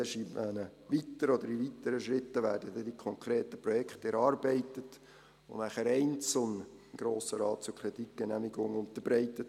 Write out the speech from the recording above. Erst in weiteren Schritten werden dann die konkreten Projekte erarbeitet und danach einzeln dem Grossen Rat zur Kreditgenehmigung unterbreitet.